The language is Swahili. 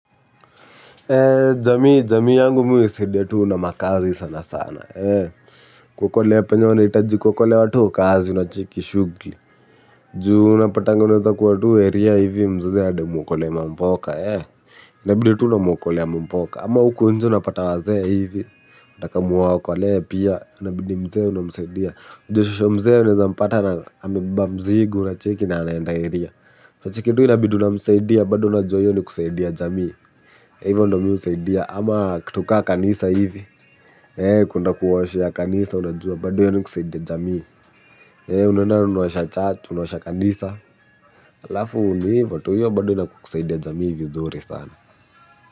Jamii, jamii yangu mimi huisaidia tuu na makaazi sana sana. Kuokolea penye wanahitaji kuokolewa huwa tu kazi unacheki shugli. Juu unapatanga unaeza kuwa tu eria hivi mzazi anadai umwokole mamboka. Inabidi tu unamwokolea mamboka. Ama huko nje unapata wazee hivi. Anataka mwaokolee pia, inabidi mzee unamsaidia. Unajua shosho mzee unaezampata amebeba mzigo unacheki na anaenda eria. Unacheki tu inabidi unamsaidia, bado unajua hiyo ni kusaidia jamii. Hivyo ndo mihusaidia ama kitu kaa kanisa hivi. Kwenda kuwaoshea kanisa unajua bado hiyo ni kusaidia jamii. Unaenda na unaosha church unaosha kanisa alafu ni hivo tu hiyo bado ina kusaidia jamii vizuri sana.